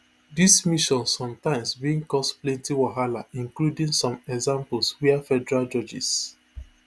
dis mission sometimes bin cause plenty wahala including some examples wia federal judges